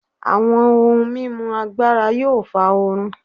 Awọn ohun mimu agbara yóò fa oorun